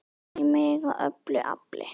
an í mig af öllu afli.